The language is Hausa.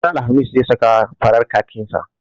Ranar alhamis zai saka farar kakin sa.